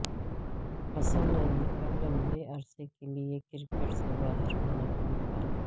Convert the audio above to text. حسن علی کا لمبے عرصے کیلئے کرکٹ سے باہر ہونے کا امکان